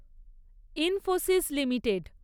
Infosys limited